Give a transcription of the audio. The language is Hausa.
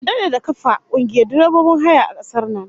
An dade da kafa kungiyar direbobin haya a kasar nan